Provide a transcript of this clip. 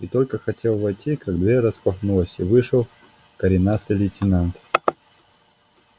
и только хотел войти как дверь распахнулась и вышел коренастый лейтенант